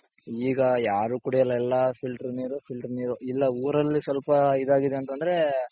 ಈಗ ಯಾರು ಕುಡ್ಯೋಲ್ಲ ಎಲ್ಲಾ filter ನೀರು filter ನೀರು ಇಲ್ಲ ಊರಲ್ಲಿ ಸ್ವಲ್ಪ ಇದಾಗಿದೆ ಅಂತಂದ್ರೆ .